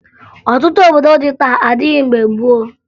Ọtụtụ obodo dị taa adịghị mgbe gboo